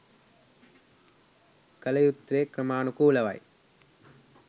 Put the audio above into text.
කළ යුත්තේ ක්‍රමානුකූලවයි